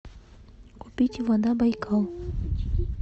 купить вода байкал